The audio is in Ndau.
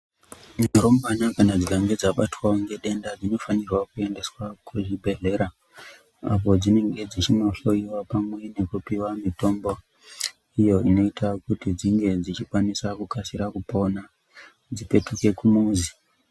Midhorombana kana dzikange dzabatwa wo ngedenda dzino fanirwawo kuendesa kuchibhedhlera, apo dzinenge dzichindo hloiwa pamwe nekupuwe mitombo iyo noite kuti dzinge dzichikasire kupona, dzipetuke kumuzi.